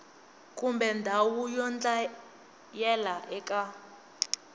kumbe ndhawu yo dlayela eka